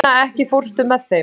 Inna, ekki fórstu með þeim?